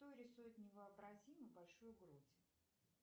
кто рисует невообразимо большую грудь